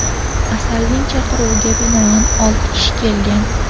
Asalning chaqiruviga binoan olti kishi kelgan.